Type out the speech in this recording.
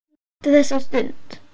Hún átti þessa stund.